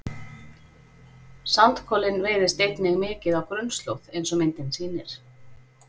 sandkolinn veiðist einnig mikið á grunnslóð eins og myndin sýnir